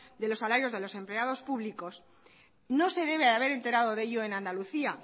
de los salarios de los empleados públicos no se debe haber enterado de ello en andalucía